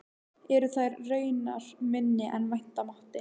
Eru þær raunar minni en vænta mátti.